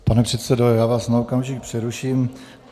Pane předsedo, já vás na okamžik přeruším.